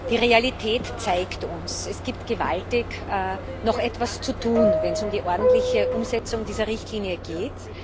Die Realität zeigt uns Es gibt noch gewaltig etwas zu tun, wenn es um die ordentliche Umsetzung dieser Richtlinie geht.